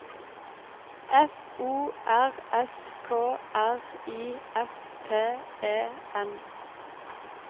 F O R S K R I F T E N